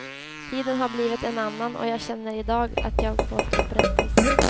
Tiden har blivit en annan och jag känner idag att jag fått upprättelse.